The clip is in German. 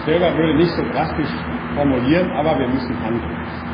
Ich selber würde nicht so drastisch formulieren, aber wir müssen handeln.